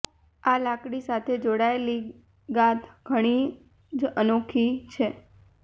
આ લાકડી સાથે જોડાયેલી ગાથ ઘણી જ અનોખી છે